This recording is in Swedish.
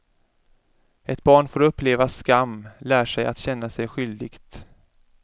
Ett barn får uppleva skam lär sig att känna sig skyldigt.